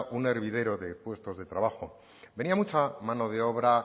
un hervidero de puestos de trabajo venía mucha mano de obra